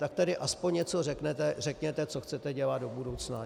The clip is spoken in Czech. Tak tedy aspoň něco řekněte, co chcete dělat do budoucna.